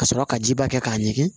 Ka sɔrɔ ka jiba kɛ k'a ɲɛgi